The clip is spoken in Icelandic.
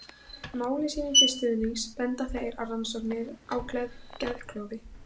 Máli sínu til stuðnings benda þeir á rannsóknir á geðklofa.